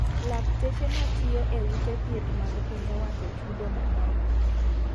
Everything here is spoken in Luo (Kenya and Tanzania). Lakteche matiyo e ute thieth mag piny owacho chudo manok.